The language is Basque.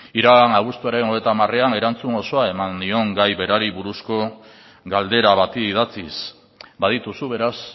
iragan abuztuaren hogeita hamarean erantzun osoa eman nion gai berari buruzko galdera bati idatziz badituzu beraz